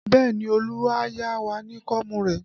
Bẹẹ ni, Olu a yá wa ní kóómù rẹ̀